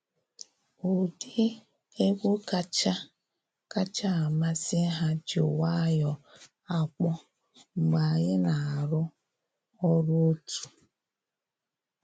Ụdị egwu kacha kacha amasị ha ji nwayọ akpọ mgbe anyị na arụ ọrụ otu.